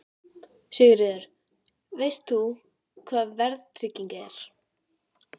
Sigríður: Veist þú hvað verðtrygging er?